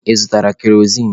Ị zụtara kerozin?